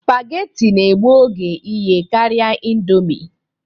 Spageti na-egbu oge iye karịa ịndomi